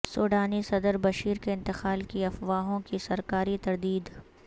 سوڈانی صدر بشیر کے انتقال کی افواہوں کی سرکاری تردید